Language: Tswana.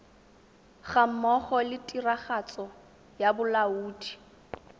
gammogo le tiragatso ya bolaodi